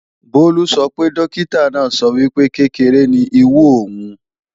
Bólú sọ pé Dókítà náà sọ wípé, kékeré ni ìwú òun